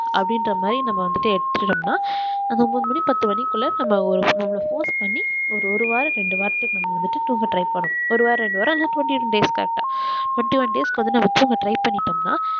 அப்டின்குற மாதிரி நம்ம எடுத்துக்குறோம் நா நம்ம மூணு மணி பத்து மணிக்குள்ள நம்மள force பண்ணி ஒரு வாரம் ரெண்டு வாரம் வந்துட்டு தூங்குறதுக்கு try பண்ணனும் ஒருவாரம் ரெண்டு வாரம் தூங்கிரும் days correct ஆஹ் twentyone days க்கு நம்ம தூங்க try பண்னிட்டோம்ன்னா